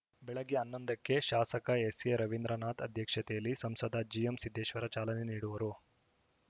ಬೆಳಗ್ಗೆ ಹನ್ನೊಂದಕ್ಕೆ ಶಾಸಕ ಎಸ್‌ಎರವೀಂದ್ರನಾಥ ಅಧ್ಯಕ್ಷತೆಯಲ್ಲಿ ಸಂಸದ ಜಿಎಂಸಿದ್ದೇಶ್ವರ ಚಾಲನೆ ನೀಡುವರು